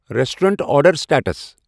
restaurant order status